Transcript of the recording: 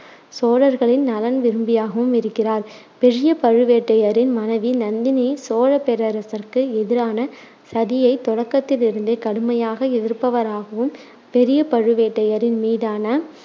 சோழர்களின் நலன் விரும்பியாகவும் இருக்கிறார். பெரிய பழுவேட்டரையரின் மனைவி நந்தினி சோழப் பேரரசுக்கு எதிரான சதியை தொடக்கத்திலிருந்தே கடுமையாக எதிர்ப்பவராகவும், பெரிய பழுவேட்டரையரின் மீதான